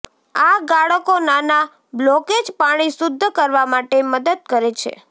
આ ગાળકો નાના બ્લોકેજ પાણી શુદ્ધ કરવા માટે મદદ કરે છે